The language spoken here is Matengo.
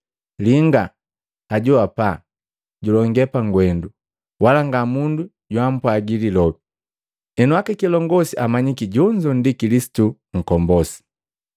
Linga! Ajo hapa julonge pagwendu, wala nga mundu joampwagi lilobi! Henu aka kilongosi amanyiki jonzo ndi Kilisitu nkombosi?